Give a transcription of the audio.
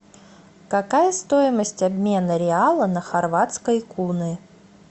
какая стоимость обмена реала на хорватские куны